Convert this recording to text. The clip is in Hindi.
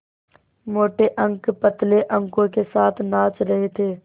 मोटे अंक पतले अंकों के साथ नाच रहे थे